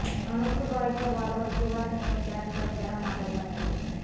अनुकूल रॉयच्या बॉलवर शिवा सिंगने कॅच करत त्याला माघारी पाठवलं